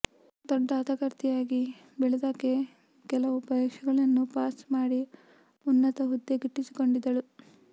ದೊಡ್ಡ ಹಠಗಾರ್ತಿಯಾಗಿ ಬೆಳೆದಾಕೆ ಕೆಲವು ಪರೀಕ್ಷೆಗಳನ್ನು ಪಾಸ್ ಮಾಡಿ ಉನ್ನತ ಹುದ್ದೆ ಗಿಟ್ಟಿಸಿದಳು